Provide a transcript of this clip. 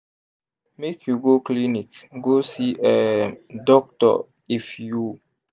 make you go clinic go see um doctor if you